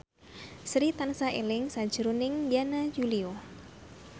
Sri tansah eling sakjroning Yana Julio